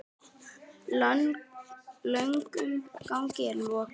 Löngum gangi er lokið.